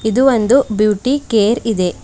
ಇದು ಒಂದು beauty care ಇದೆ.